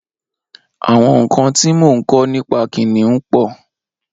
Awọn nkãn ti mó n kọ̀ nipà kiniùn pọ